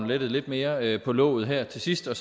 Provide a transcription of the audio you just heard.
lettet lidt mere på låget her til sidst og